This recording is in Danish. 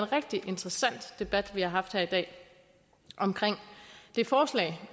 rigtig interessant debat vi har haft her i dag om det forslag